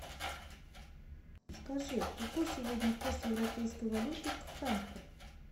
скажи какой сегодня курс европейской валюты к франку